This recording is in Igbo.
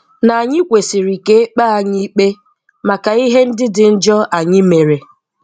Na anyị kwesịrị ka e kpee anyị ikpe maka ihe ndị dị njọ anyị mere.